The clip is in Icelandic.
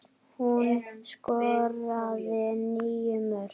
Hún skoraði níu mörk.